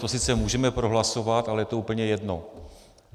To sice můžeme prohlasovat, ale je to úplně jedno.